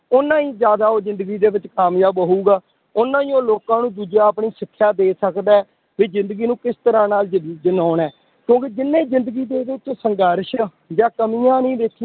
ਓਨਾ ਹੀ ਜ਼ਿਆਦਾ ਉਹ ਜ਼ਿੰਦਗੀ ਦੇ ਵਿੱਚ ਕਾਮਯਾਬ ਹੋਊਗਾ, ਓਨਾ ਹੀ ਉਹ ਲੋਕਾਂ ਨੂੰ ਦੂਜੇ ਆਪਣੀ ਸਿਕਸ਼ਾ ਦੇ ਸਕਦਾ ਹੈ, ਵੀ ਜ਼ਿੰਦਗੀ ਨੂੰ ਕਿਸ ਤਰ੍ਹਾਂ ਨਾਲ ਜ ਜਿਉਣਾ ਹੈ, ਕਿਉਂਕਿ ਜਿੰਨੇ ਜ਼ਿੰਦਗੀ ਦੇ ਵਿੱਚ ਸੰਘਰਸ਼ ਆ ਜਾਂ ਕਮੀਆਂ ਨੀ ਦੇਖਣੀ